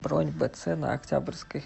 бронь бц на октябрьской